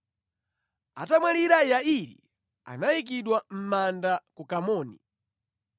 Atamwalira Yairi anayikidwa mʼmanda ku Kamoni.